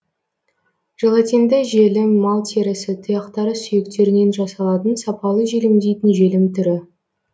желатинді желім мал терісі тұяқтары сүйектерінен жасалатын сапалы желімдейтін желім түрі